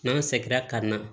N'an sɛgɛnna ka na